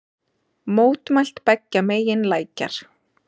Mótmælt beggja megin lækjar